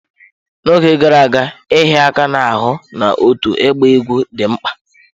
N'oge gara aga, ịhịa aka n'ahụ na otu ịgba egwú dị mkpa.